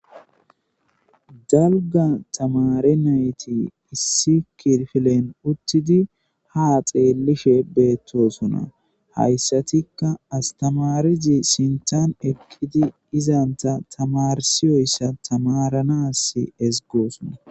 dalga tamare nayti issi kirfilen uttidi ha xeellife beettosona hayssatikka astamarizi sintan eqqidi izanta tamarsiyoyssa tamaranas esgoosona